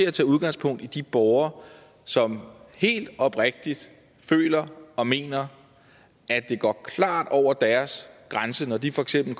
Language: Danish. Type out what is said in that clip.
at tage udgangspunkt i de borgere som helt oprigtigt føler og mener at det går klart over deres grænse når de for eksempel